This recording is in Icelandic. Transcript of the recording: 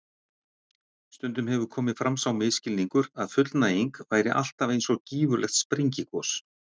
Stundum hefur komið fram sá misskilningur að fullnæging væri alltaf eins og gífurlegt sprengigos.